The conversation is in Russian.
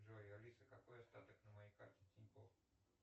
джой алиса какой остаток на моей карте тинькофф